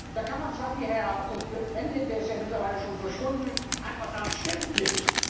Da kann man zwar wie Herr Cohn Bendit der ist ja mittlerweile schon verschwunden einfach sagen Stimmt nicht.